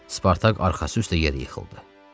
Spartak arxası üstə yerə yıxıldı.